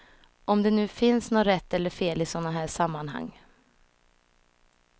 Om det nu finns något rätt eller fel i sådana här sammanhang.